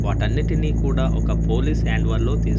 వాటన్నిటిని కూడా ఒక పోలీస్ హ్యాండోవర్ తీస్--